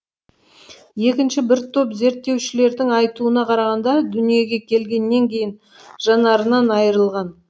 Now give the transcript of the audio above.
екінші бір топ зерттеушілердің айтуына қарағанда дүниеге келгеннен кейін жанарынан айырылған